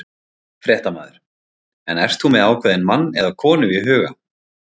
Fréttamaður: En ert þú með ákveðinn mann eða konu í huga?